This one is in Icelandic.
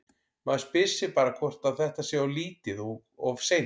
Maður spyr sig bara hvort að þetta sé of lítið og of seint?